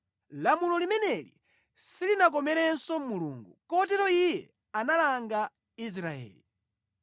Lamulo limeneli silinakomerenso Mulungu. Kotero Iye analanga Israeli.